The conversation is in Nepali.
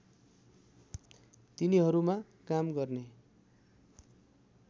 तिनीहरूमा काम गर्ने